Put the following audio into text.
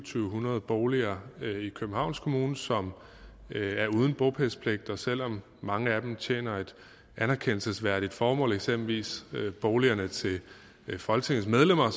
syv hundrede boliger i københavns kommune som er uden bopælspligt og selv om mange af dem tjener et anerkendelsesværdigt formål eksempelvis boligerne til de folketingsmedlemmer